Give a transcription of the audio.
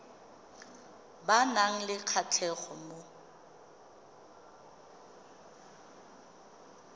ba nang le kgatlhego mo